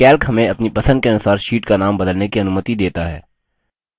calc हमें अपनी पसंद के अनुसार sheets का नाम बदलने की अनुमति देता है